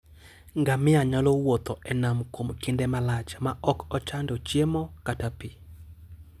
Ngamia nyalo wuotho e nam kuom kinde malach maok ochando chiemo kata pi.